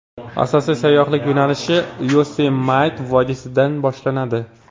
Asosiy sayyohlik yo‘nalishlari Yosemite vodiysidan boshlanadi.